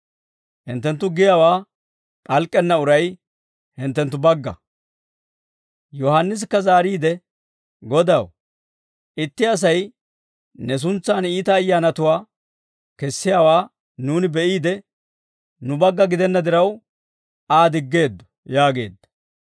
Yohaannisikka zaariide, «Godaw, itti Asay ne suntsaan iita ayyaanatuwaa kessiyaawaa nuuni be'iide, nu bagga gidenna diraw, Aa diggeeddo» yaageedda.